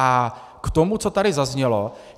A k tomu, co tady zaznělo.